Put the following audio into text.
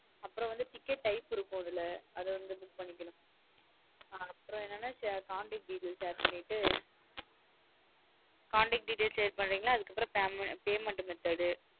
அப்பறம் வந்து ticket type இருக்கும் அதுல அதா வந்து click அப்றோம் என்னா contact details add பண்ணிட்டு ticket add பண்ணிடேகன அதுகப்ரோ payment method உ